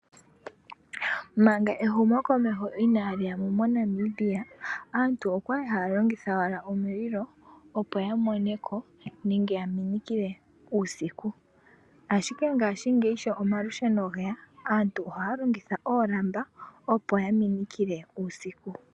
Manga ehumokomeho inaali yamo moNamibia, aantu okwali haya longitha owala omililo, opo yamoneko nenge yaminikile uusiku. Ashike mongaashingeyi sho omalusheno geya, aantu ohaya longitha oolamba, opo ya minikile uusiku.